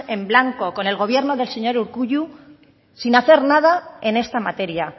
en blanco con el gobierno del señor urkullu sin hacer nada en esta materia